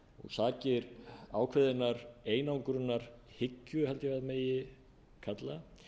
sakir ákveðinnar einangrunarhyggju held ég að megi kalla